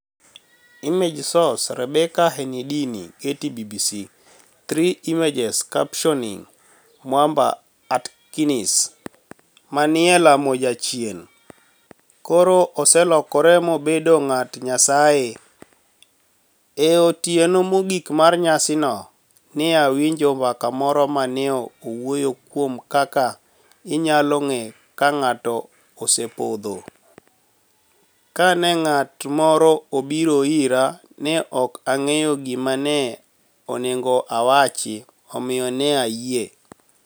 Image source, Rebecca Henidini / Getty / BBC Three Image captioni Mwamba Atkinis, ma ni e lamo jachieni, koro oselokore mobedo nig'at niyasaye. E otieno mogik mar niyasino, ni e awinijo mbaka moro ma ni e wuoyo kuom kaka iniyalo nig'e ka be nig'ato osepodho. Kani e nig'at moro obiro ira, ni e ok anig'eyo gima ni e oni ego awachi, omiyo ni e ayie.